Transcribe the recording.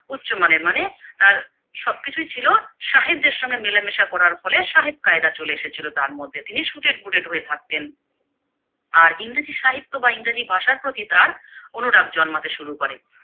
উচ্চমানের মানে তার সবকিছুই ছিলো সাহেবদের সঙ্গে মেলামেশা করার ফলে সাহেব কায়দা চলে এসেছিলো তার মধ্যে তিনি Suited booted হয়ে থাকতেন। আর ইংরেজি সাহিত্য বা ইংরেজি ভাষার প্রতি তার অনুরাগ জন্মাতে শুরু করে।